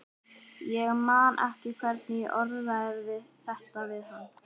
Ég man ekki hvernig ég orðaði þetta við hana.